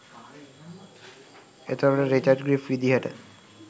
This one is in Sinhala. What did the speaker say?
එතකොට රිචඩ් ග්‍රීෆ් විදිහට